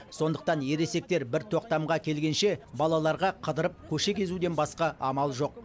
сондықтан ересектер бір тоқтамға келгенше балаларға қыдырып көше кезуден басқа амал жоқ